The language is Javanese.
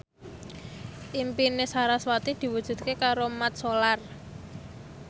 impine sarasvati diwujudke karo Mat Solar